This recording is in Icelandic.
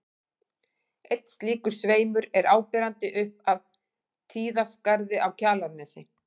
Einn slíkur sveimur er áberandi upp af Tíðaskarði á Kjalarnesi.